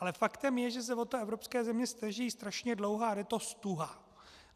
Ale faktem je, že se o to evropské země snaží strašně dlouho a jde to ztuha.